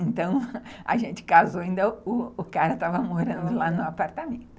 Então, a gente casou ainda, o cara estava morando lá no apartamento.